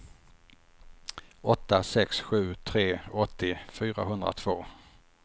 åtta sex sju tre åttio fyrahundratvå